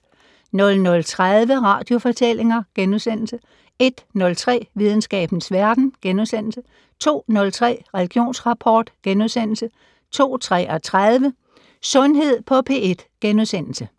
00:30: Radiofortællinger * 01:03: Videnskabens Verden * 02:03: Religionsrapport * 02:33: Sundhed på P1 *